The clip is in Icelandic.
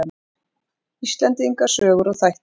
Íslendinga sögur og þættir.